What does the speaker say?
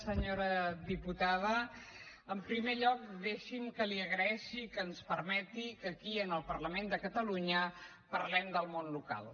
senyora diputada en primer lloc deixi’m que li agraeixi que ens permeti que aquí en el parlament de catalunya parlem del món local